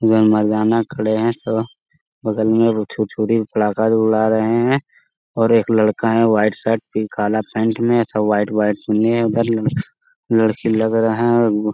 जो मर्दाना खड़े हैं सब वो बगल में वो छुर-छुरी पड़ाका जो उड़ा रहे हैं और एक लड़का है वाइट शर्ट पे काला पैंट में ये सब वाइट वाइट सुन्नी हैं उधर लड़क लड़की लग रहा है और वो --